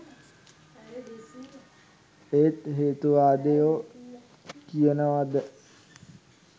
ඒත් හේතුවාදියො කියනවද